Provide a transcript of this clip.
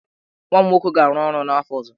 Nwa m nwoke ga-arụ ọrụ n'afọ ọzọ.